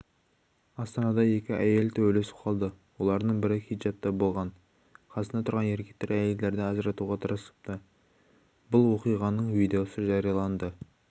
астанада екі әйел төбелесіп қалды олардың бірі хиджапта болған қасында тұрған еркектер әйелдерді ажыратуға тырысыпты бұл оқиғаның видеосы жарияланды